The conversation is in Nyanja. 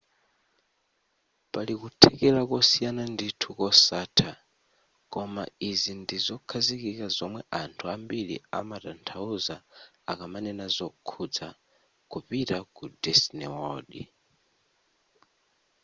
pali kuthekera kosiyana ndithu kosatha koma izi ndi zokhazikika zomwe anthu ambiri amatanthauza akamanena zokhudza kupita ku disney world